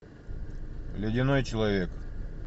ледяной человек